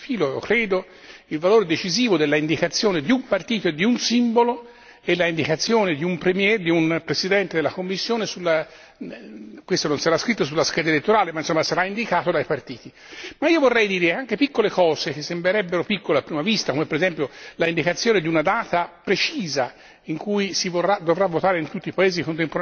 I più hanno già sottolineato quindi sotto questo profilo, il valore decisivo dell'indicazione di un partito e di un simbolo e l'indicazione di un Presidente della Commissione questo non sarà scritto sulla scheda elettorale, ma sarà indicato dai partiti. Ma io vorrei anche sottolineare piccole cose che sembrerebbero piccole a prima vista, come per esempio l'indicazione di una data precisa